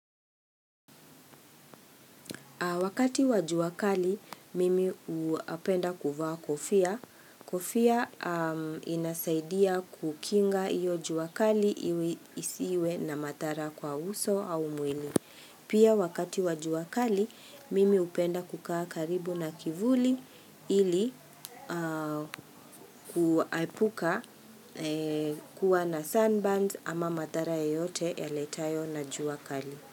Wakati wa jua kali, mimi upenda kuvaa kofia. Kofia inasaidia kukinga iyo jua kali isiwe na madhara kwa uso au mwili. Pia wakati wa jua kali, mimi hupenda kukaa karibu na kivuli ili kuaipuka kuwa na sunburns ama madhara yoyote yaletayo na juwa kali.